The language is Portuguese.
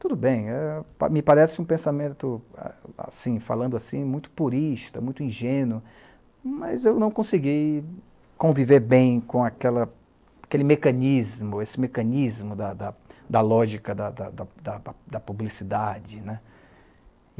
Tudo bem, eh, me parece um pensamento, a assim, falando assim, muito purista, muito ingênuo, mas eu não consegui conviver bem com aquela, aquele mecanismo, esse mecanismo da da da lógica da da da da publicidade, né.